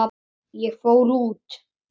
Ég fór út.